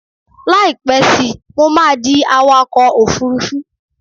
Láìpẹ́ síi, mo máa di awakọ̀ òfurufú